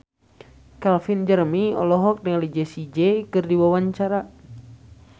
Calvin Jeremy olohok ningali Jessie J keur diwawancara